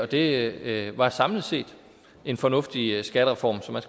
det var samlet set en fornuftig skattereform så man